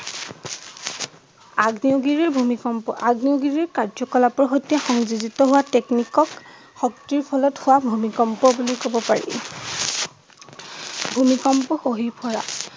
আগ্নেয়গিৰী ভূমিকম্প আগ্নেয়গিৰী কাৰ্যকলাপৰ সৈতে সংযোজিত হোৱা টেকনিক ক শক্তিৰ ফলত হোৱা ভূমিকম্প বুলি কব পাৰি